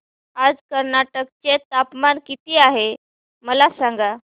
आज कर्नाटक चे तापमान किती आहे मला सांगा